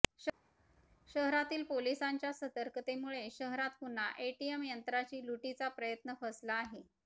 शहरातील पोलिसांच्या सतर्कतेमुळे शहरात पुन्हा एटीएम यंत्राची लुटीचा प्रयत्न फसला आहे